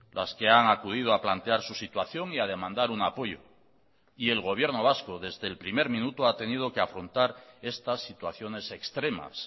las que han acudido a plantear su situación y a demandar un apoyo y el gobierno vasco desde el primer minuto ha tenido que afrontar estas situaciones extremas